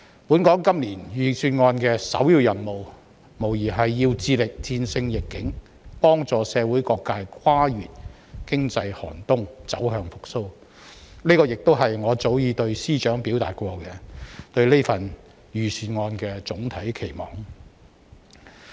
本港今年財政預算案的首要任務，無疑要致力戰勝疫境，幫助社會各界跨越經濟寒冬、走向復蘇，這是我早已對司長表達過對預算案的總體期望。